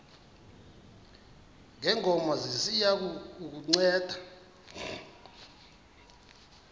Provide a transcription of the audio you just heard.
ngongoma ziya kukunceda